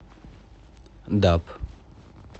даб